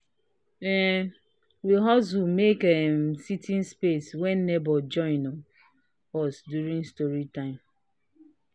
um we hustle make um seating space when neighbors join um us during story time."